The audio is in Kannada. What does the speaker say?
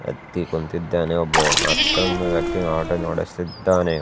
ಹತ್ತಿ ಕುಂತಿದ್ದಾನೆ ಒಬ್ಬ ಮತ್ತೊಂದು ಆಟೋವನ್ನು ಓಡಿಸುತ್ತಿದ್ದಾನೆ.